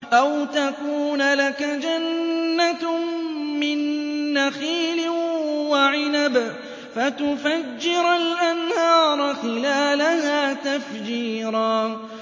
أَوْ تَكُونَ لَكَ جَنَّةٌ مِّن نَّخِيلٍ وَعِنَبٍ فَتُفَجِّرَ الْأَنْهَارَ خِلَالَهَا تَفْجِيرًا